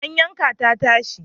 An yanka ta tashi.